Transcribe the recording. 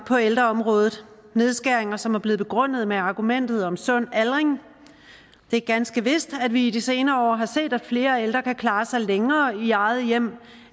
på ældreområdet nedskæringer som er blevet begrundet med argumentet om sund aldring det er ganske vist at vi i de senere år har set at flere ældre kan klare sig længere i eget hjem